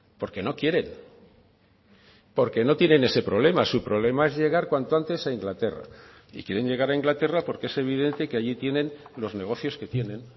porque no quieren porque no tienen ese problema su problema es llegar cuanto antes a inglaterra y quieren llegar a inglaterra porque es evidente que allí tienen los negocios que tienen